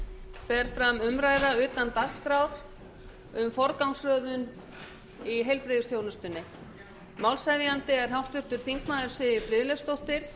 fer fram umræða utan dagskrár um forgangsröðun í heilbrigðisþjónustunni málshefjandi er háttvirtur þingmaður siv friðleifsdóttir